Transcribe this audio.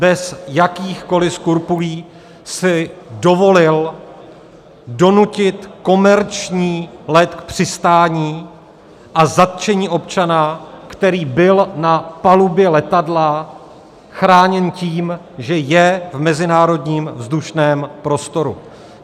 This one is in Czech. Bez jakýchkoli skrupulí si dovolil donutit komerční let k přistání a zatčení občana, který byl na palubě letadla chráněn tím, že je v mezinárodním vzdušném prostoru.